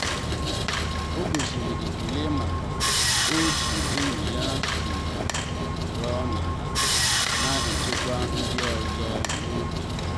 o gosiri ekele maka otú enyi ya si nọrọ n’ala ma na echekwa ndị ọzọ n’obi.